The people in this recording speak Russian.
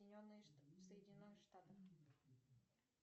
соединенные в соединенных штатах